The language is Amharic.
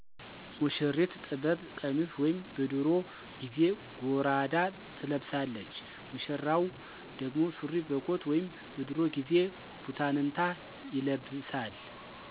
ሙሽሪት ጥበብ ቀሚስ ወይም በድሮ ጊዜ ጎራዳ ትለብሳለች። ሙሽራው ደግሞ ሱሪ በኮት ወይም በድሮ ጊዜ ቡታንታ ይለብሳል።